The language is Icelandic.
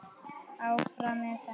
Áfram með þetta.